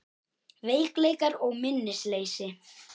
Veikleikar og minnisleysi